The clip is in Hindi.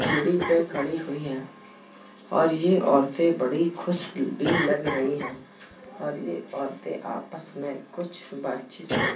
सीढ़ी पे खड़ी हुई हैं और ये औरतें बड़ी खुश भी लग रही हैं और ये औरतें आपस में कुछ बातचीत